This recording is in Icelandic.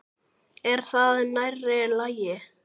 Er það nærri lagi?